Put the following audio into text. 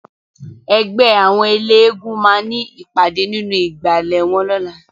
Ègbè áwòn éléègúùn má ni ipàdé ninú igbále wòn lòlá